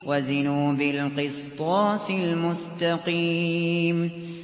وَزِنُوا بِالْقِسْطَاسِ الْمُسْتَقِيمِ